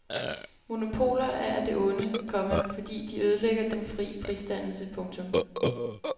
Monopoler er af det onde, komma fordi de ødelægger den fri prisdannelse. punktum